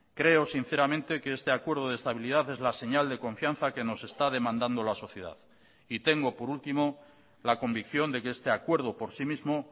creo sinceramente que este acuerdo de estabilidad es la señal de confianza que nos está demandando la sociedad y tengo por último la convicción de que este acuerdo por sí mismo